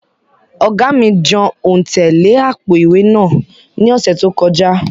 Oga mi jan ontẹ le apo-iwe naa ni ọsẹ to kọja.